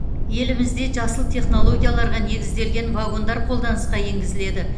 елімізде жасыл технологияларға негізделген вагондар қолданысқа енгізіледі